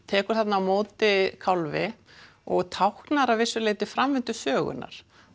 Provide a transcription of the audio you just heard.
tekur þarna á móti kálfi og táknar að vissu leyti framvindu sögunnar